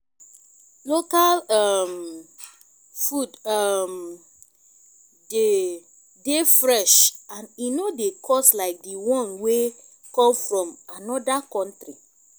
local um food um de dey fresh and e no dey cost like di one wey come from anoda country